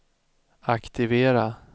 aktivera